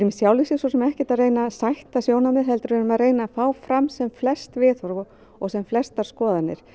sjálfu sér svo sem ekkert að reyna að sætta sjónarmið heldur erum að reyna að fá fram sem flest viðhorf og og sem flestar skoðanir